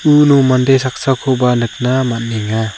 uno mande saksakoba nikna man·enga.